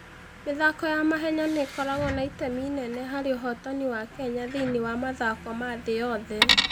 mĩthako ya mahenya nĩ ĩkoragwo na itemi inene harĩ ũhootani wa Kenya thĩinĩ wa mathako ma thĩ yothe.